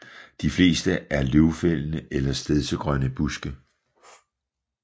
De fleste er løvfældende eller stedsegrønne buske